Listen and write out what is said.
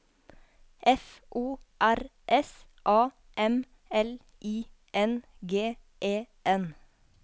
F O R S A M L I N G E N